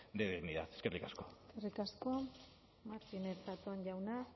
de dignidad eskerrik asko eskerrik asko martínez zatón jauna